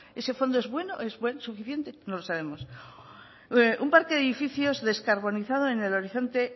ese fondo es bueno es suficiente no lo sabemos un parque de edificios descarbonizado en el horizonte